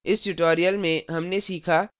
इस tutorial में हमने सीखा